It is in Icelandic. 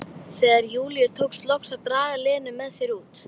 Mig langaði að strjúka hann aftur á sinn stað.